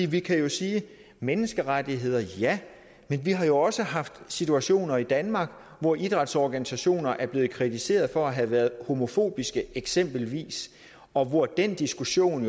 vi kan jo sige menneskerettigheder ja men vi har jo også haft situationer i danmark hvor idrætsorganisationer er blevet kritiseret for at have været homofobiske eksempelvis og hvor den diskussion